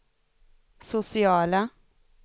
sociala